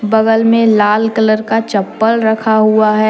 बगल में लाल कलर का चप्पल रखा हुआ है।